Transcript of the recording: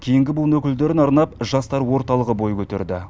кейінгі буын өкілдеріне арнап жастар орталығы бөй көтерді